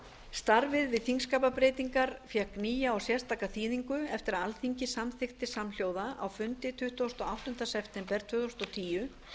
starfið við þingskapabreytingar fékk nýja og sérstaka þýðingu eftir að alþingi samþykkti samhljóða á fundi tuttugasta og áttunda september tvö þúsund og tíu